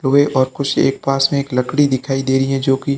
और कुर्सी एक पास में एक लकड़ी दिखाई दे रही है जो की--